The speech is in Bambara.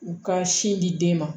U ka sin di den ma